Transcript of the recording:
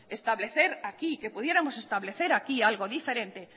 que pudiéramos establecer aquí algo diferente